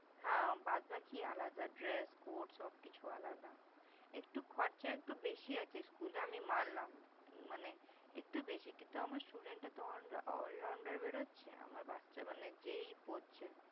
হ্যাঁ! বাদ বাকি আলাদা। Dress Coat সবকিছু আলাদা। একটু খরচা একটু বেশি আছে School -এ, আমি মানলাম। মানে একটু বেশি কিন্তু আমার Student টা তো allrounder বেরোচ্ছে আমার বাচ্চা মানে যে- ই পড়ছে ।